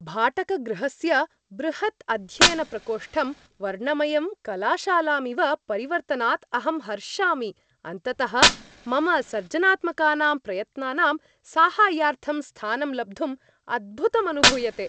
भाटकगृहस्य बृहत् अध्ययनप्रकोष्टं वर्णमयं कलाशालामिव परिवर्तनात् अहं हर्षामि अन्ततः मम सर्जनात्मकानां प्रयत्नानां साहाय्यार्थं स्थानं लब्धुम् अद्भुतम् अनुभूयते।